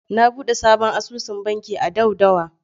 Na buɗe sabon asusun banki a Daudawa.